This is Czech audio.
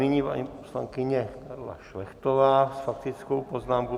Nyní paní poslankyně Karla Šlechtová s faktickou poznámkou.